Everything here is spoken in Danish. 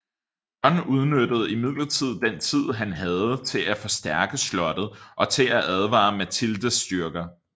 John udnyttede imidlertid den tid han havde til at forstærke slottet og til at advare Matildes styrker